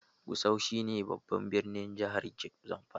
Gusau shi ne babban birnin jihar Zamfara